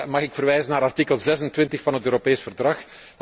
Mag ik verwijzen naar artikel 26 van het Europees Verdrag.